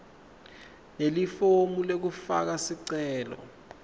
nelifomu lekufaka sicelo